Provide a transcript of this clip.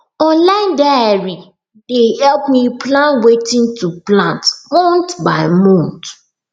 online diary dey help me plan wetin to plant month by month